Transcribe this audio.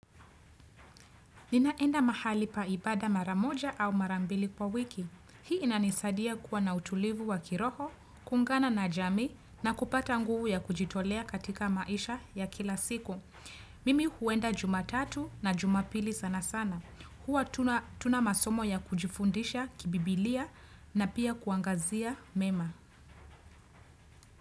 Ninaenda mahali pa ibada mara moja au mara mbili kwa wiki. Hii inanisadia kuwa na utulivu wa kiroho, kuungana na jamii na kupata nguvu ya kujitolea katika maisha ya kila siku. Mimi huenda jumatatu na jumapili sana sana. Huwa hatuna masomo ya kujifundisha kibibilia na pia kuangazia mema.